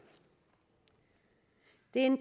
det er en